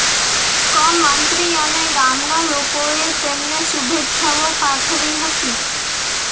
ક મંત્રી અને ગામના લોકોએ તેમને શુભેચ્છાઓ પાઠવી હતી